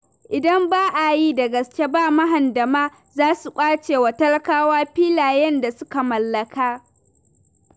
Idan ba a yi da gaske ba mahandama za su ƙwace wa talakawa filayen da suka mallaka.